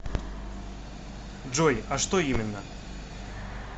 джой а что именно